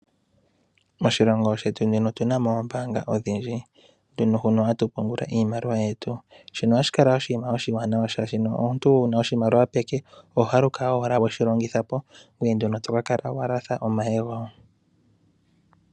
Moshilongo shetu nena otu na mo oombaanga odhindji hono hatu pungula iimaliwa yetu shino ohashi kala oshinima oshiwanawa, molwashono omuntu wu na oshimaliwa peke oho haluka we shi longitha po ngoye komeho to ka kala wa latha omayego.